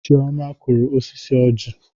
Chioma kụrụ osisi ọjị.